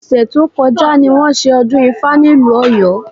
Ọ̀sẹ̀ tó kọjá ni wọ́n ṣe ọdún ifá nílùú Ọ̀yọ́